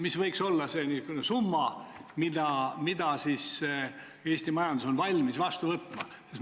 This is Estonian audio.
Mis võiks olla see summa, mida Eesti majandus on valmis vastu võtma?